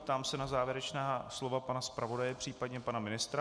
Ptám se na závěrečná slova pana zpravodaje, případně pana ministra.